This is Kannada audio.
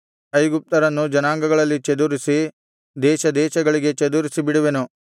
ಐಗುಪ್ತ್ಯರನ್ನು ಜನಾಂಗಗಳಲ್ಲಿ ಚದುರಿಸಿ ದೇಶದೇಶಗಳಿಗೆ ಚದುರಿಸಿ ಬಿಡುವೆನು